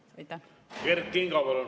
Kert Kingo, palun!